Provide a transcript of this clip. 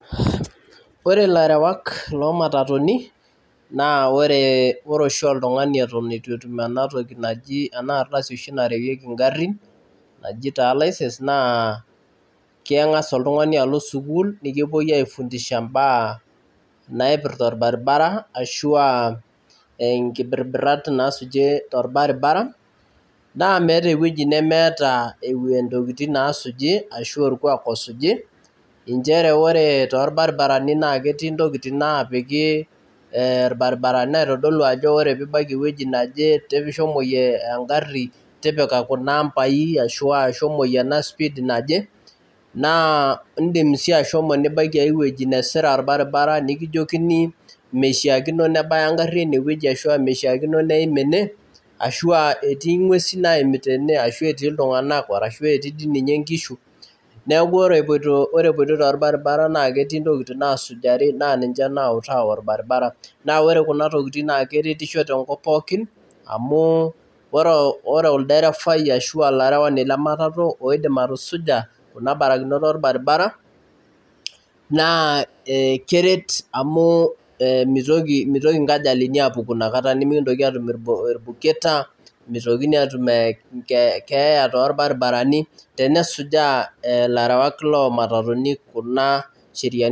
Ore ilarewak loomatatuni naa oree oshi oltung'ani eton itu etum inatoki naji enaa ardasi oshii narewieki ingarrin najii taa license naa keng'asa oltung'ani alo sukul nikipoi afundisha imbaa naipirta orbaribara ashuu aa enkibirat naasujie arbaribara naa meeta eweji nemeetaa intokitin naasuji ashuu orkuak osuji nchere oere torbaribarani naa ketii intokitin naapiki irbaribarani naitodolu ajo oree piibaiki eweji naje shomoyie engarri tipika kuna ampai ashuu aa shomoyie ena speed naje, naa iidim sii ashomo nibaiki aiweji nesira orbaribara nikijoikini meishaakino nebaya engarri eneweji arashu meshaakino neim ene, ashuu aa eti ing'wesi naimita ena ashuu etii iltung'anak ,ashuu etii dii ninye inkishu neeku ore epoioi toorbaribara naa ketii intokiting' naasujari naa ninche naawuta orbaribara, naa ore Kuna tokitin naa keretisho tenkop pookin amu ore olderefai aashu olarewani leematatu ooidim atusuja Kuna barakinot orbaribara naa keret amuu meitoki inkajalini apuuku inakata nimekintoki atuum irbuketa, meitokini aatum keeya toorbarababrani tenesujaa ilarewak loomatatuni Kuna sheriani.